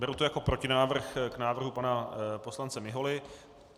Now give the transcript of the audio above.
Beru to jako protinávrh k návrhu pana poslance Miholy.